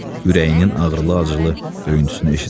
Ürəyinin ağrılı-acılı döyüntüsünü eşitmədi.